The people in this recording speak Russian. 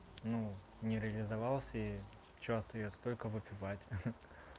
ну не реализовался и что остаётся только выпивать